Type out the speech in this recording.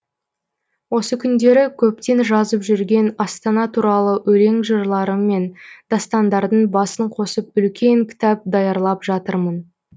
осы күндері көптен жазып жүрген астана туралы өлең жырларым мен дастандардың басын қосып үлкен кітап даярлап жатырмын